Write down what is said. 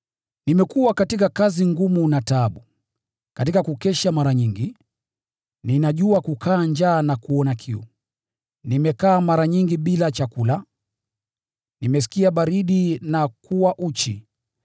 Nimekuwa katika kazi ngumu na taabu, katika kukesha mara nyingi; ninajua kukaa njaa na kuona kiu; nimefunga kula chakula mara nyingi; nimehisi baridi na kuwa uchi.